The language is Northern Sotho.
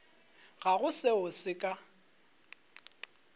ga go seo se ka